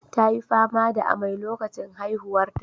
Ta yi fama da amai lokacin haihuwarta.